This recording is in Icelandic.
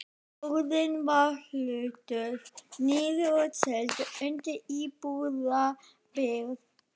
Lóðin var hlutuð niður og seld undir íbúðabyggð.